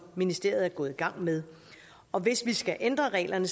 ministeriet er gået i gang med og hvis vi skal ændre reglerne